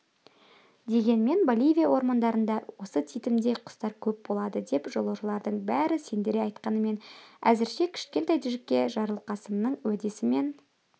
дегенмен боливия ормандарында осы титімдей құстар көп болады деп жолаушылардың бәрі сендіре айтқанымен әзірше кішкентай джекке жарылқасынның уәдесімен